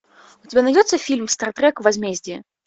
у тебя найдется фильм стартрек возмездие